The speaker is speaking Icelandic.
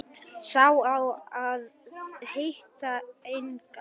Sá á að heita Agnes.